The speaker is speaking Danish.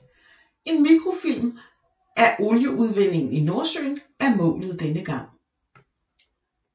En mikrofilm af olieudvindingen i Nordsøen er målet denne gang